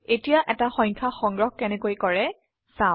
এতিয়া এটা সংখ্যা সংগ্ৰহ কেনেকৈ কৰে চাও